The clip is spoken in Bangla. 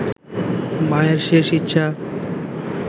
মায়ের শেষ ইচ্ছা